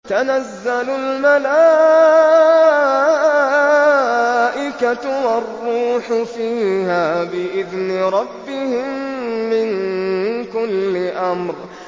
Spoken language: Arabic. تَنَزَّلُ الْمَلَائِكَةُ وَالرُّوحُ فِيهَا بِإِذْنِ رَبِّهِم مِّن كُلِّ أَمْرٍ